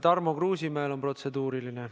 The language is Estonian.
Tarmo Kruusimäel on protseduuriline.